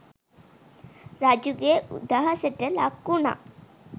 රජුගේ උදහසට ලක්වුණා.